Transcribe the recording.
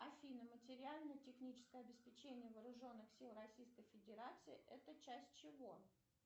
афина материально техническое обеспечение вооруженных сил российской федерации это часть чего